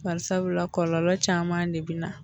Barisabula, kɔlɔlɔ caman de bɛna na.